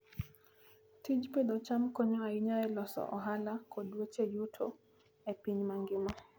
Tij pidho cham konyo ahinya e loso ohala kod weche yuto e piny mangima.